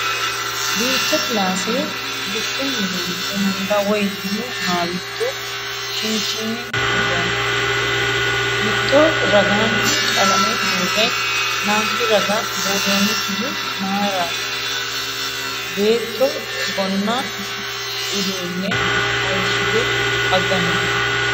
Duucha kilaassa bushshunni loonse hunda woyi minu haawiitto kinchinni usurroonni? Mitto ragaanni qalame buurre lanki raga buurroonnikkihu matiraati? Beetto gonna uduunne hayishite haganni no.